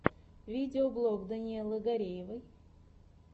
видеоблог даниэлы гареевой